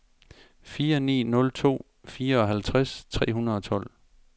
fire ni nul to fireoghalvtreds tre hundrede og tolv